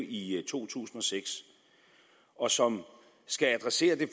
i to tusind og seks og som skal adressere det